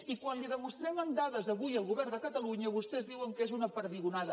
i quan li ho demostrem amb dades avui al govern de catalunya vostès diuen que és una perdigonada